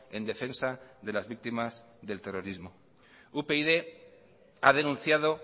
en defensa de las víctimas del terrorismo upyd ha denunciado